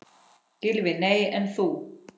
Gylfi: Nei en þú?